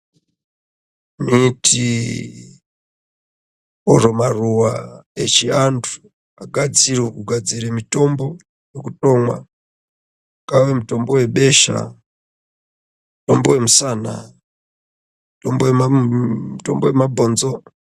Miti oro maruwa echiantu gadzirwe kugadzire mitombo wekutomwa, ungave mutombo webesha, mutombo wemusana, mutombo wemabhonzo.